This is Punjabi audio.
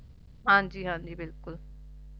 ਹਾਂਜੀ ਹਾਂਜੀ ਬਿਲਕੁਲ